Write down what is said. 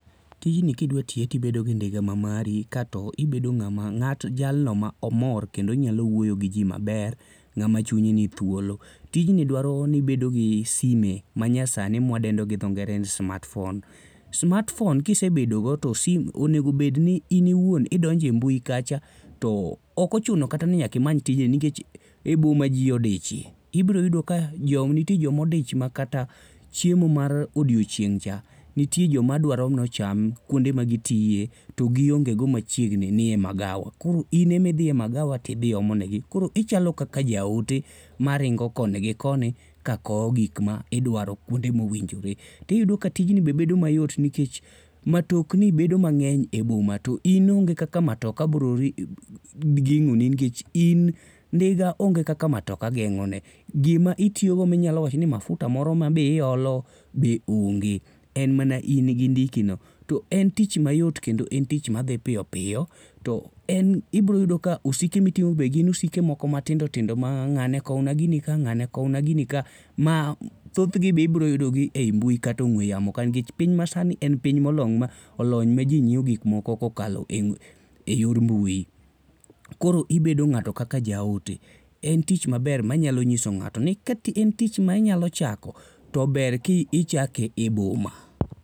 Tijni kidwa tiye tibedo gi ndiga ma mari kato ibedo ng'ama ng'at jalno mar omor kendo nyalo wuoyo gi ji maber. Ng'ama chunye ni thuolo. Tiji dwaro ni ibedo gi sime ma nyasani mwaadendo gi dho ngere ni smartphone. Smartphone kisebedogo to onego bedni in iwuon idonjo e mbui kacha to okochuno kata ni nyaka imany tichni nkech e boma ji odichie. Ibiro yudo ka jo, nitie joma odich makata chiemo mar odiechieng' cha nitie jo madwaro ni ocham kuonde ma gitie to gionge go machiegni nie magawa. Koro in ema idhe e magawa tidhi omo negi. Koro ichalo kaka ja ote ma ringo koni gi koni ka kowo gik ma idwaro kuonde mowinjore. Tiyudo ka tijni be bedo mayot nikech matokni bedo mang'eny e boma to in onge kaka matoka biro geng'oni nikech in ndiga onge kaka matoka geng'one. Gima itiyo go minyalo wacho ni mafuta moro ma be iolo be onge. En mana in gi ndiki no. To en tich mayot kendo en tich madhi piyopiyo. To en ibiro yudo ka osike ma iting'o be gin osike moko matindo tindo ma ng'ane kowna gini ka, ng'ane kowna gini ka, ma thothgi be ibiro yudo gi e mbui kata ong'we yamo nikech piny masani en piny molony ma ji ng'iewo gik moko kokalo e yor mbui. Koro ibedo ng'ato kaka jaote. En tich maber manyalo nyiso ng'ato ni ka en tich ma inyalo chako, to ber ka ichake e boma.